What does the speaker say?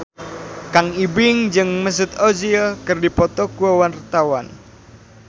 Kang Ibing jeung Mesut Ozil keur dipoto ku wartawan